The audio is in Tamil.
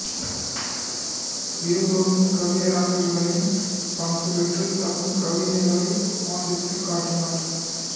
இருவரும் கவியரங்குகளில் பங்கு பெற்று தம் கவிதைகளை வாசித்துக் காட்டினா்